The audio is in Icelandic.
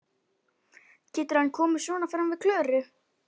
Getur hann komið svona fram við Klöru?